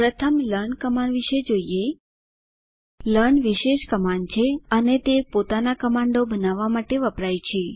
પ્રથમ learn command વિષે જોઈએ લર્ન વિશેષ કમાન્ડ છે અને તે પોતાના કમાન્ડો બનાવવા માટે વપરાય છે